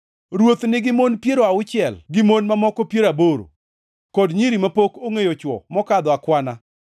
Ruoth nigi mon piero auchiel gi mon mamoko piero aboro, kod nyiri mapok ongʼeyo chwo mokadho akwana.